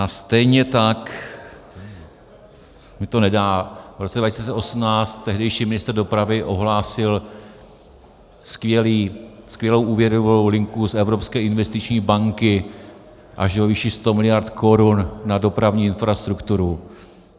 A stejně tak mi to nedá, v roce 2018 tehdejší ministr dopravy ohlásil skvělou úvěrovou linku z Evropské investiční banky až ve výši 100 miliard korun na dopravní infrastrukturu.